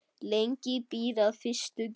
Lengi býr að fyrstu gerð.